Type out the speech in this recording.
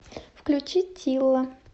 включи тилла